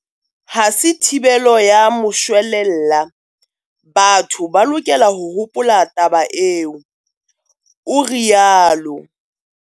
Ha se thibelo ya moshwelella, batho ba lokela ho hopola taba eo, o rialo.